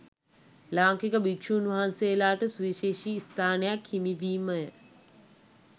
ලාංකික භික්‍ෂූන් වහන්සේලාට සුවිශේෂී ස්ථානයක් හිමිවීමය